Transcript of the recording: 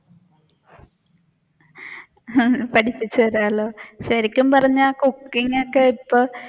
പഠിപ്പിച്ചു താരാലോ ശരിക്കും പറഞ്ഞ cooking ഒക്കെ ഇപ്പൊ